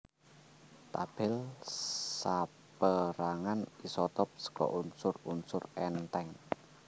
Tabèl sapérangan isotop saka unsur unsur èntheng